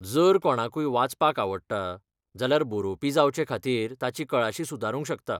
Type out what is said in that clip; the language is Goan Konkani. जर कोणाकूय वाचपाक आवडटा, जाल्यार बरोवपी जावचेखातीर ताची कळाशी सुदारूंक शकता.